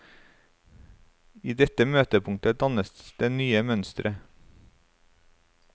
I dette møtepunktet dannes det nye mønstre.